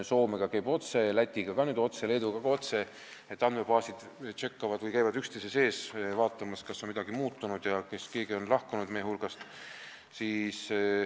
Soomega käib andmevahetus otse ning Läti ja Leeduga ka otse, st andmebaasid tšekkavad andmeid või käivad üksteise andmeid vaatamas, et näha, kas on midagi muutunud ja kas keegi on meie hulgast lahkunud.